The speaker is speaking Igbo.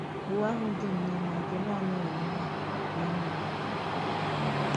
Ụ́wa ahụ dị nnọọ mma nke na-ànàghị mmehie na nrùrù aka.